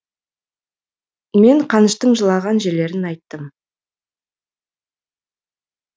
мен қаныштың жылаған жерлерін айттым